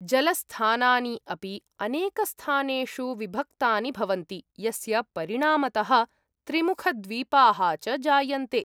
जलस्थानानि अपि अनेकस्थानेषु विभक्तानि भवन्ति यस्य परिणामतः त्रिमुखद्वीपाः च जायन्ते।